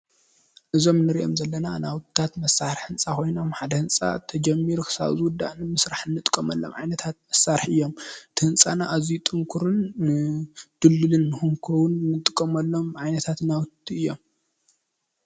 እዞም እንሪኦም ዘለና ናውትታት መሳርሒ ኮይኖም ሓደ ህንፃ ተጀሚሩ ክሳብ ዝውዳእ ንምስራሕ እንጥቀመሎም ዓይነታት መሳርሒ እዮም፡፡ እቲ ህንፃና ኣዝዩ ጥንኩርን ድልድሉን ንክኸውን እንጥቀመሎም ዓይነታት ናውቲ እዮም፡፡